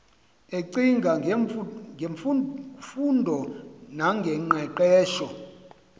ecinga ngemfundo noqeqesho